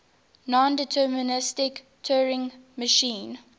nondeterministic turing machine